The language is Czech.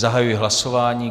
Zahajuji hlasování.